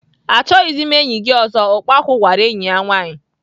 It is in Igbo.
Achọghịzi m enyi gị ọzọ! "Ukpaku gwara enyi ya nwaanyị.